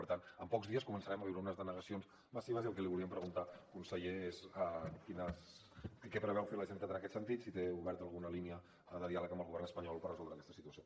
per tant en pocs dies començarem a veure unes denegacions massives i el que li volíem preguntar conseller és què preveu fer la generalitat en aquest sentit si té oberta alguna línia de diàleg amb el govern espanyol per resoldre aquesta situació